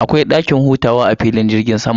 Akwai dakin hutawa a filin jirgin sama.